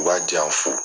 U b'a janya fo